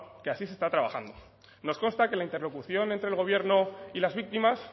que así se está trabajando nos consta que la interlocución entre el gobierno y las víctimas